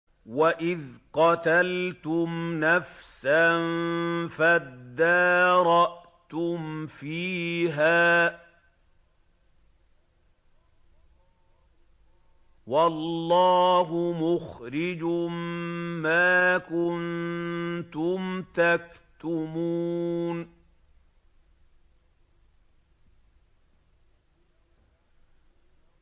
وَإِذْ قَتَلْتُمْ نَفْسًا فَادَّارَأْتُمْ فِيهَا ۖ وَاللَّهُ مُخْرِجٌ مَّا كُنتُمْ تَكْتُمُونَ